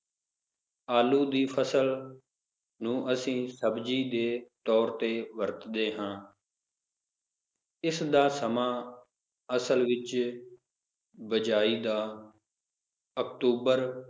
ਆਲੂ ਦੀ ਫਸਲ ਨੂੰ ਅਸੀਂ ਸਬਜ਼ੀ ਦੇ ਤੌਰ ਤੇ ਵਰਤਦੇ ਹਾਂ ਇਸ ਦਾ ਸਮਾਂ ਅਸਲ ਵਿਚ ਬਿਜਾਈ ਦਾ ਅਕਤੂਬਰ,